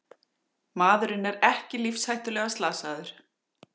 Maðurinn er ekki lífshættulega slasaður